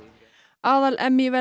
aðal